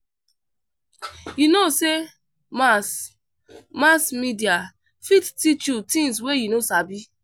You no know sey mass mass media fit teach you tins wey you no sabi?